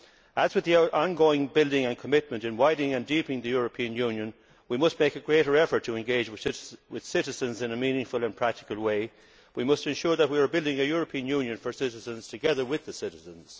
As with the ongoing building and commitment in widening and deepening the European Union, we must make a greater effort to engage with citizens in a meaningful and practical way and ensure that we are building a European Union for citizens together with the citizens.